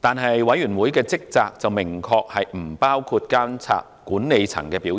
但委員會的職責明確不包括監察管理層的表現。